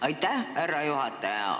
Aitäh, härra juhataja!